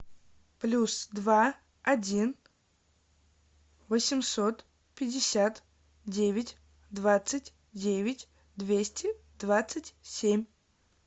плюс два один восемьсот пятьдесят девять двадцать девять двести двадцать семь